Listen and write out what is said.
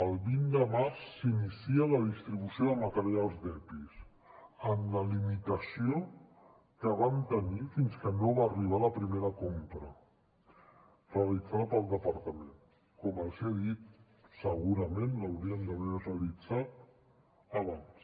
el vint de març s’inicia la distribució de materials d’epis amb la limitació que vam tenir fins que no va arribar la primera compra realitzada pel departament com els he dit segurament l’hauríem d’haver realitzat abans